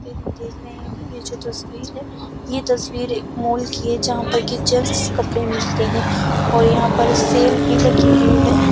तस्वीर में देख रहे है यह जो तस्वीर है यह तस्वीर एक मॉल की है जहाँ पर कि जैंट्स कपड़े मिलते हैं और यहाँ पर सेल भी लगी हुई है।